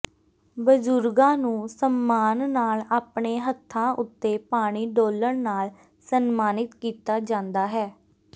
ਬਜ਼ੁਰਗਾਂ ਨੂੰ ਸਨਮਾਨ ਨਾਲ ਆਪਣੇ ਹੱਥਾਂ ਉੱਤੇ ਪਾਣੀ ਡੋਲਣ ਨਾਲ ਸਨਮਾਨਿਤ ਕੀਤਾ ਜਾਂਦਾ ਹੈ